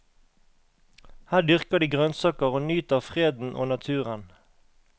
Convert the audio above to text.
Her dyrker de grønnsaker og nyter freden og naturen.